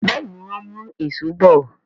Béèni wón mú Èṣó bọ.